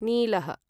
नीलः